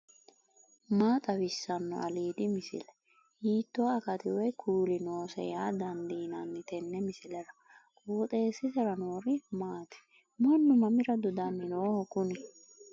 maa xawissanno aliidi misile ? hiitto akati woy kuuli noose yaa dandiinanni tenne misilera? qooxeessisera noori maati ? mannu mamira dodanni nooho kuni